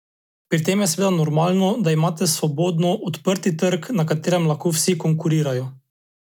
Pri tem je seveda normalno, da imate svobodno, odprti trg, na katerem lahko vsi konkurirajo.